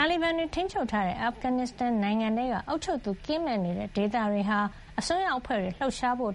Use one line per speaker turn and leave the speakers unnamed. တာလီဘန်တွေ ထိန်းချုပ်ထားတဲ့ အာဖဂန်နစ်စတန်နိုင်ငံထဲက အုပ်ချုပ်သူ ကင်းမဲ့နေတဲ့ ဒေသတွေဟာ အစွန်းရောက်အဖွဲ့တွေ လှုပ်ရှားဖို့